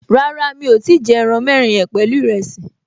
Rárá, mi ò tíì jẹ ẹran mẹ́rin yẹn pẹ̀lú ìrẹsì